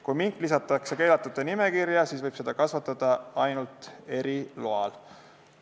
Kui mink lisatakse keelatud loomade nimekirja, siis võib seda kasvatada ainult eriloal.